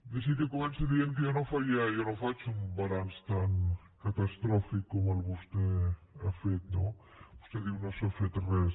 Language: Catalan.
deixi’m que comenci dient que jo no faria jo no faig un balanç tan catastròfic com el que vostè ha fet no vostè diu no s’ha fet res